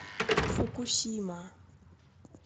фукусима